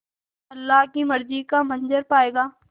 अल्लाह की मर्ज़ी का मंज़र पायेगा